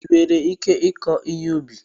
Ị nwere ike ịkụ ihe ubi?